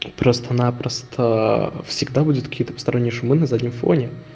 просто-напросто всегда будет какие-то посторонние шумы на заднем фоне